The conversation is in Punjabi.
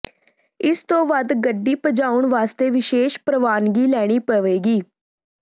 ਇਸ ਤੋਂ ਵੱਧ ਗੱਡੀ ਭਜਾਉਣ ਵਾਸਤੇ ਵਿਸ਼ੇਸ਼ ਪ੍ਰਵਾਨਗੀ ਲੈਣੀ ਪਵੇਗੀ